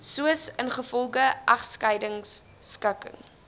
soos ingevolge egskeidingskikking